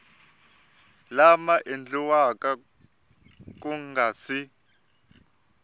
lama endliweke ku nga si